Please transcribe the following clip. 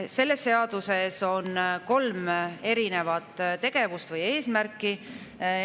Selles seaduses on kolm erinevat tegevust või sellel on kolm eesmärki.